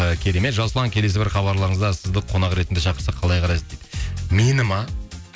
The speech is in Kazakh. і керемет жасұлан келесі бір хабарларыңызда сізді қонақ ретінде шақырсақ қалай қарайсыз дейді мені ме